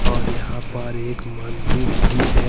और यहां पर एक मंदिर भी है।